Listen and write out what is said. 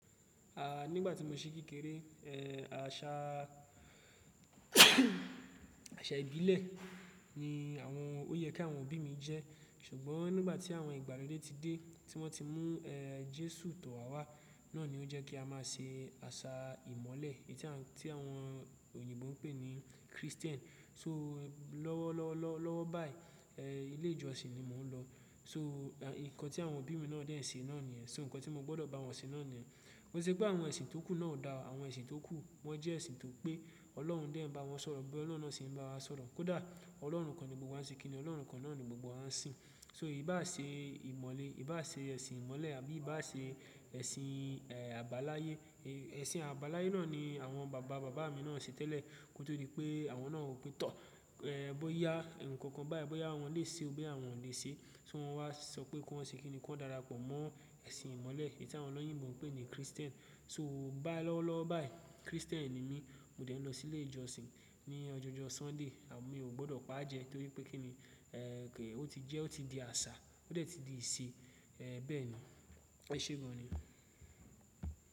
A, nígbà tí mo ṣí kékeré, ẹ, àṣà àṣà ìbílẹ̀ ni àwọn ó yẹ kí àwọn òbí mi jẹ́. Ṣùgbọ́n nígbà tí àwọn ìgbàlódé ti dé, tí wọ́n ti mú, ẹ, Jésù tọ̀ wá wá, náà ni ó jẹ́ kí a máa ṣe àṣà ìmọ̀lẹ̀ tí àwọn, tí àwọn òyìnbó ń pè ní Christian. So lọ́wọ́ lọ lọ lọ́wọ́ báyìí, ẹ, ilé ìjọsìn ni mò ń lọ. So n-- nǹkan tí àwọn òbí mi náà dẹ̀ ń ṣe náà niyẹn. So nǹkan tí mo gbọ́dọ̀ bá wọn ṣe náà ni ẹ. Ko ṣe pé àwọn ẹ̀sìn tókù náà ò dára. Àwọn ẹ̀sìn tókù, wọ́n jẹ́ ẹ̀sìn tó pé Ọlọ́run dẹ̀ ń bá wọn sọ̀rọ̀ bóyá Ọlọ́run náà ṣe ń bá wa sọ̀rọ̀. Kódà Ọlọ́run kan ni gbogbo wa ń ṣe kíni, Ọlọ́run kan náà ni gbogbo wa ń sìn. So ìbá ṣe ìmọ̀le, ìbá ṣe ẹ̀sìn ìmọ̀lẹ̀ àbí ìbá ṣe ẹ̀sìn, ẹ, àbáláyé, ẹ, ẹ̀sìn àbáláyé náà ni àwọn bàbá bàbá mi náà ṣe tẹ́lẹ̀. Ní kó tó rí pé àwọn náà ò pé tọ́, ẹ, bóyá ǹkan kan báyìí, bóyá àwọn lè ṣe o bóyá àwọn ò lè ṣe. So wọ́n wá sọ pé kó ṣe kíni kó darapọ̀ mọ́ ẹ̀sìn ìmọ̀lẹ̀ tí àwọn ọlọ́yìnbo ń pè ní Christian. So bá lọ́wọ́ lọ́wọ́ báyìí Christian ni mí. Mo dẹ̀ ń lọ sí ilé ìjọsìn ní ọjọọ́jọ́ Sunday and mi ò gbọ́dọ̀ pa á jẹ tó rí pé kíni, ẹ, pé ó ti jẹ́, ó ti di àṣà, ó dẹ̀ ti di ìṣe. Ẹ, bẹ́ẹ̀ ni, ẹ ṣé gan ni.